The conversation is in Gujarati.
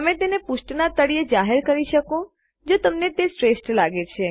તમે તેને પૃષ્ઠના તળિયે જાહેર કરી શકો જો તમને તે શ્રેષ્ઠ લાગે